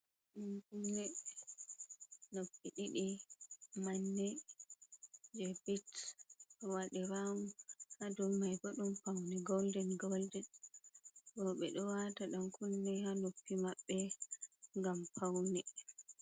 Ɗan kunne noppi ɗiɗi, manne je bit wade rawun hadu mai. Bodun paune golden golden bo ɓe do wata Ɗan kunne ha noppi mabbe gam paune.